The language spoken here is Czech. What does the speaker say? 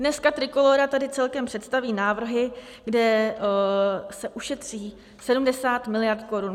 Dneska Trikolóra tady celkem představí návrhy, kde se ušetří 70 miliard korun.